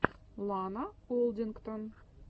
лана олдингтон